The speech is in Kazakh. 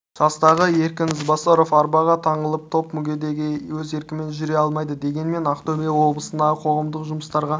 жастағы еркін ізбасаров арбаға таңылған топ мүгедегі өз еркімен жүре алмайды дегенмен ақтөбе облысындағы қоғамдық жұмыстарға